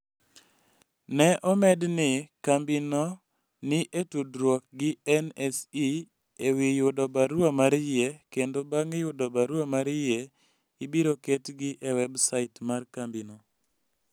Ne omed ni, kambino ni e tudruok gi NSE e wi yudo barua mar yie, kendo bang' yudo barua mar yie, ibiro ketgi e websait mar kambino.